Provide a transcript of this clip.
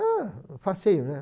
Ah, facinho, né?